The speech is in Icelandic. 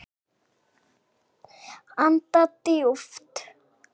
Anda djúpt.